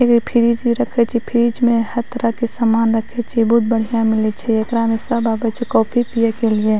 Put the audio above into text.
एगो फ्रीज इ रखे छै फ्रीज में हर तरह के सामान रखे छै बहुत बढ़िया मिले छै एकरा में सब आबे छै कॉफी पिये के लिए।